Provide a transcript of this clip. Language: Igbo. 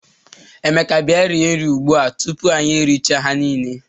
Emeka bia rie nri ugbua o, tupu anyi eri chaa ha nile.